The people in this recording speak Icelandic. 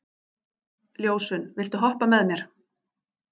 Ljósunn, viltu hoppa með mér?